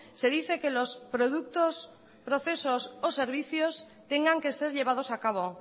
se dice que los productos procesos o servicios tengan que ser llevados a cabo